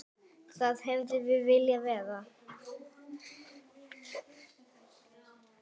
Þar hefðum við viljað vera.